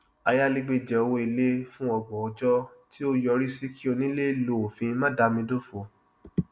ayálégbé jẹ owó ilé fún ọgbọn ọjọ tí ó yọrí sí kí onílé lo òfin máadámidófò